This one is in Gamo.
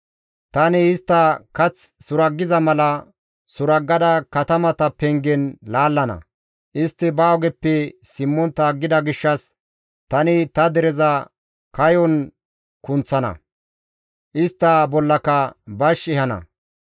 Tani istta kath suraggiza mala suraggada katamata pengen laallana; istti ba ogeppe simmontta aggida gishshas tani ta dereza kayon kunththana; istta bollaka bash ehana.